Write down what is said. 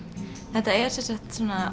þetta er sem sagt svona